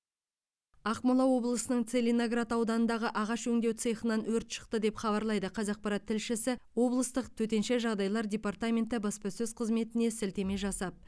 ақмола облысының целиноград ауданындағы ағаш өңдеу цехынан өрт шықты деп хабарлайды қазақпарат тілшісі облыстық төтенше жағдайлар департаменті баспасөз қызметіне сілтеме жасап